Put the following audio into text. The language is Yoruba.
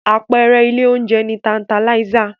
Àpẹẹrẹ ilé oúnjẹ ni Tantalizer.